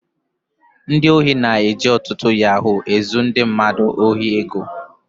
Ndị ohi na-eji ọtụtụ yahoo ezu ndị mmadụ ohi ego